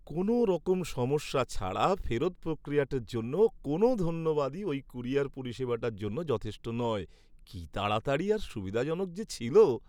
কোনওরকম সমস্যা ছাড়া ফেরত প্রক্রিয়াটার জন্য কোনও ধন্যবাদই ওই ক্যুরিয়ার পরিষেবাটার জন্য যথেষ্ট নয়; কী তাড়াতাড়ি আর সুবিধাজনক যে ছিল!